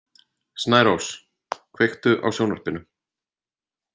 Snærós, kveiktu á sjónvarpinu.